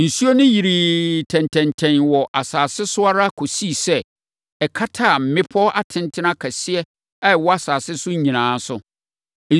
Nsuo no yirii tɛntɛntɛn wɔ asase so ara kɔsii sɛ, ɛkataa mmepɔ atentene akɛseɛ a ɛwɔ asase so nyinaa so.